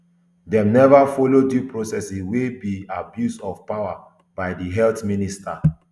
dem neva follow due process wia e be abuse of power by di health minister